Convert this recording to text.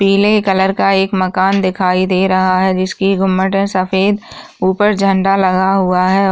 पीले कलर का एक मकान दिखाई दे रहा है जिसकी गुम्बद सफेद और ऊपर झंडा लगा हुआ है।